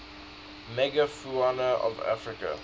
megafauna of africa